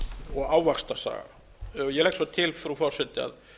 og ávaxtasafa ég legg svo til frú forseti að